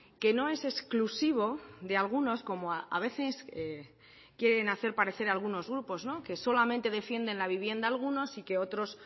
que no es exclusivo de algunos como a veces quieren hacer parecer algunos grupos que solamente defienden la vivienda algunos y que otros